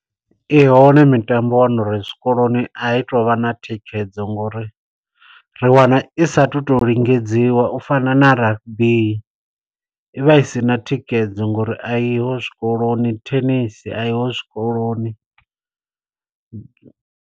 I hone mitambo wa wana uri zwikoloni a i tovha na thikhedzo ngo uri, ri wana i saathu to lingedziwa. U fana na rugby, i vha i si na thikhedzo ngo uri a i ho zwikoloni, thenisi a i ho zwikoloni.